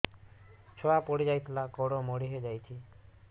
ଛୁଆ ପଡିଯାଇଥିଲା ଗୋଡ ମୋଡ଼ି ହୋଇଯାଇଛି